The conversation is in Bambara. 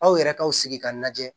Aw yɛrɛ kaw sigi k'a lajɛ